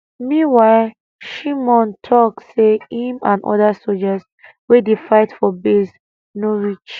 meanwhile shimon tok say im and oda sojas wey dey fight for base no reach